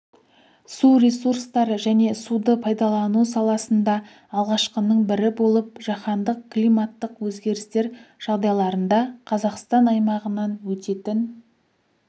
су ресурстары және суды пайдалану саласында алғашқының бірі болып жаһандық климаттық өзгерістер жағдайларында қазақстан аймағынан өтетін